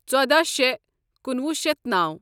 ژودہَ شے کنُوہُ شیتھ نوَ